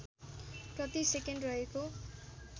प्रति सेकेन्ड रहेको